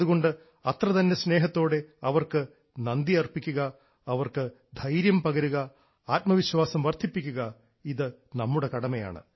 അതുകൊണ്ട് അത്രതന്നെ സ്നേഹത്തോടെ അവർക്ക് നന്ദിയർപ്പിക്കുക അവർക്ക് ധൈര്യം പകരുക ആത്മവിശ്വാസം വർദ്ധിപ്പിക്കുക നമ്മുടെ കടമയാണ്